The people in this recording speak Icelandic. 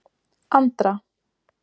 Andra